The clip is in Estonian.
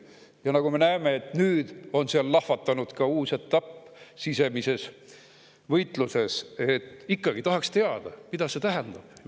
Ja nagu me näeme, nüüd on seal lahvatanud ka uus etapp sisemises võitluses, seega ikkagi tahaks teada, mida see tähendab.